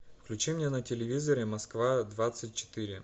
включи мне на телевизоре москва двадцать четыре